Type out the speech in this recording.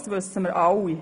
Das wissen wir alle.